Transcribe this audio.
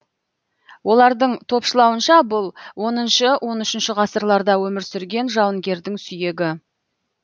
олардың топшылауынша бұл оныншы он үшінші ғасырларда өмір сүрген жауынгердің сүйегі